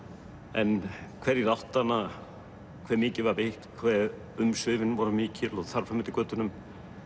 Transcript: en hverjir áttu hana hve mikið var veitt hve umsvifin voru mikil og þar fram eftir götunum